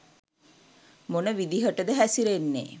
මොන විදිහටද හැසිරෙන්නේ